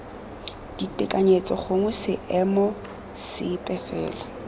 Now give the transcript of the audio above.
ditekanyetso gongwe seemo sepe fela